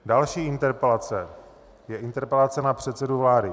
Další interpelace je interpelace na předsedu vlády.